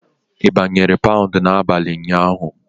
Ị gbanwere paụnd n'abalị ụnyaahụ?